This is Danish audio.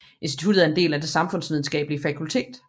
Instituttet er en del af det samfundsvidenskabelige fakultet